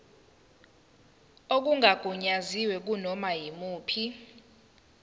okungagunyaziwe kunoma yimuphi